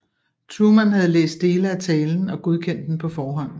Truman havde læst dele af talen og godkendt den på forhånd